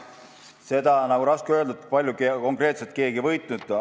Seda on raske öelda, kui palju konkreetselt keegi võitnud on.